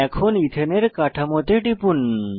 এখন ইথেনের কাঠামোতে টিপুন